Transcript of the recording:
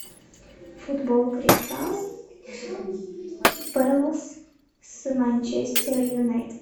футбол кристал пэлас с манчестер юнайтед